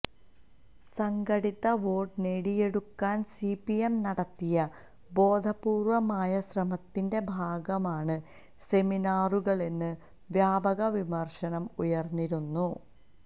സംഘടിത വോട്ട് നേടിയെടുക്കാന് സിപിഎം നടത്തിയ ബോധപൂര്വ്വമായ ശ്രമത്തിന്റെ ഭാഗമാണ് സെമിനാറുകളെന്ന് വ്യാപക വിമര്ശനം ഉയര്ന്നിരുന്നു